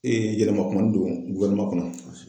yɛlɛma kumanin don kɔnɔ